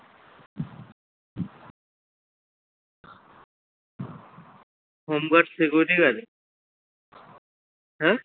home guard security guard এ হ্যাঁ?